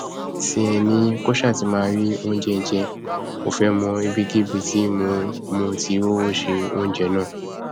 tiẹ ni kó ṣáà ti máa rí oúnjẹ jẹ kó fẹẹ mọ ibikíbi tí mo mo ti rówó se oúnjẹ náà